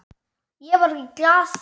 Ég var í Glað.